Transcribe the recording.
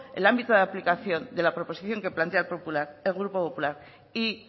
el ámbito de la aplicación de la proposición que plantea el grupo popular y